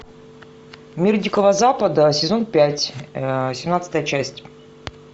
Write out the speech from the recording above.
мир дикого запада сезон пять семнадцатая часть